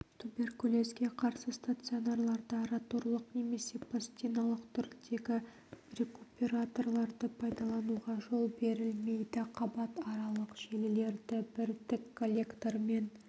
туберкулезге қарсы стационарларда роторлық немесе пластиналық түрдегі рекуператорларды пайдалануға жол берілмейді қабатаралық желілерді бір тік коллектормен